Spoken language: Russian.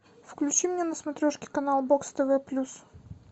включи мне на смотрешке канал бокс тв плюс